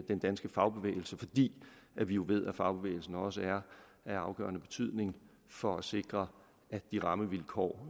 den danske fagbevægelse fordi vi jo ved at fagbevægelsen også er af afgørende betydning for at sikre de rammevilkår